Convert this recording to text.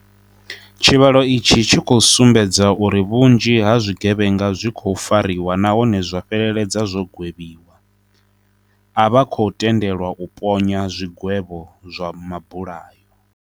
Tshivhalo itshi tshi khou sumbedza uri vhunzhi ha zwigevhenga zwi khou fariwa nahone zwa fheleledza zwo gwevhiwa. A vha khou tendelwa u ponya zwigwevho zwa mabulayo.